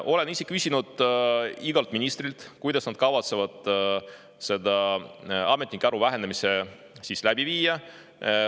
Olen küsinud igalt ministrilt, kuidas nad kavatsevad seda ametnike arvu vähendamist läbi viia.